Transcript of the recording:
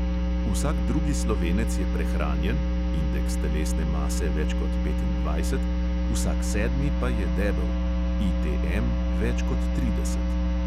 Vsak drugi slovenec je prehranjen (indeks telesne mase več kot petindvajset), vsak sedmi pa je debel (ITM več kot trideset).